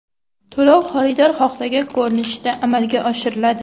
To‘lov xaridor xohlagan ko‘rinishda amalga oshiriladi.